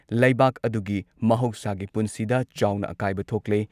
ꯂꯩꯕꯥꯛ ꯑꯗꯨꯒꯤ ꯃꯍꯧꯁꯥꯒꯤ ꯄꯨꯟꯁꯤꯗ ꯆꯥꯎꯅ ꯑꯀꯥꯏꯕ ꯊꯣꯛꯂꯦ ꯫